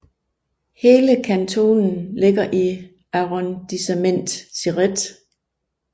Hele kantonen ligger i Arrondissement Céret